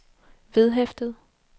vedhæftet